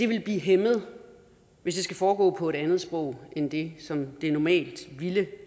vil blive hæmmet hvis det skal foregå på et andet sprog end det som det normalt ville